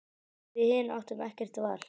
Við hin áttum ekkert val.